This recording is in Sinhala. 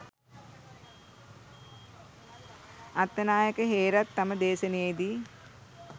අත්තනායක හේරත් තම දේශණයේ දී